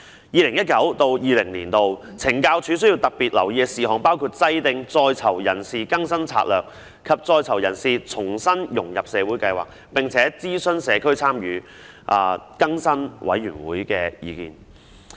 "二零一九至二零年度需要特別留意的事項"包括："制定在囚人士更生策略及在囚人士重新融入社會計劃，並諮詢社區參與助更生委員會的意見"。